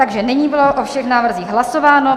Takže nyní bylo o všech návrzích hlasováno.